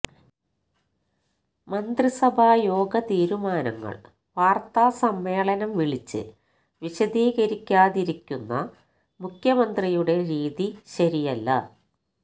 മന്ത്രിസഭായോഗ തീരുമാനങ്ങൾ വാർത്താ സമ്മേളനം വിളിച്ച് വിശദീകരിക്കാതിരിക്കുന്ന മുഖ്യമന്ത്രിയുടെ രീതി ശരിയല്ല